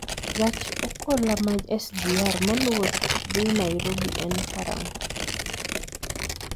gach okoloma sgr maluwo dhi nairobi en karang'o